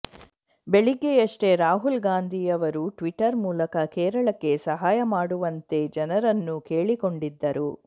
ಬೆಳಿಗ್ಗೆಯಷ್ಟೆ ರಾಹುಲ್ ಗಾಂಧಿ ಅವರು ಟ್ವಿಟ್ಟರ್ ಮೂಲಕ ಕೇರಳಕ್ಕೆ ಸಹಾಯ ಮಾಡುವಂತೆ ಜನರನ್ನು ಕೇಳಿಕೊಂಡಿದ್ದರು